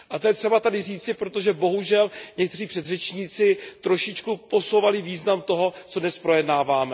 A to je třeba tady říci, protože bohužel někteří předřečníci trošičku posouvali význam toho, co dnes projednáváme.